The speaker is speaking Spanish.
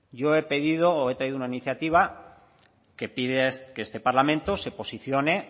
yo he pedido o he traído una iniciativa que pide que este parlamento se posicione